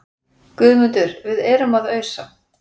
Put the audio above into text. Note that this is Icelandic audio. GUÐMUNDUR: Við erum að ausa.